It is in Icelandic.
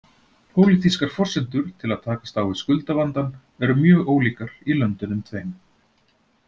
Pólitískar forsendur til að takast á við skuldavandann eru mjög ólíkar í löndunum tveim.